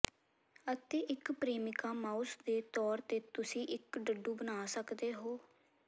ਅਤੇ ਇੱਕ ਪ੍ਰੇਮਿਕਾ ਮਾਊਸ ਦੇ ਤੌਰ ਤੇ ਤੁਸੀਂ ਇੱਕ ਡੱਡੂ ਬਣਾ ਸਕਦੇ ਹੋ